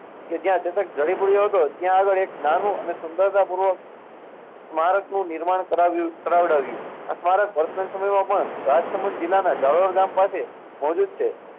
કે જ્યાં ચેતક ઢાળી પડ્યો હતો, ત્યાં આગળ એક નાનું અને સુંદરતાપૂર્વક સ્મારકનું નિર્માણ કરાવ્યું~કરાવડાવ્યુ.